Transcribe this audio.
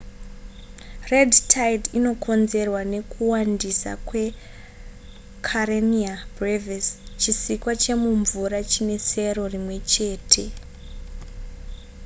red tide inokonzerwa nekuwandisa kwekarenia brevis chisikwa chemumvura chine sero rimwe chete